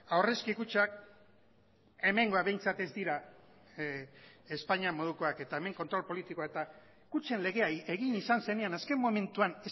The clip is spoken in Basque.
aurrezki kutxak hemengoak behintzat ez dira espainia modukoak eta hemen kontrol politikoa eta kutxen legea egin izan zenean azken momentuan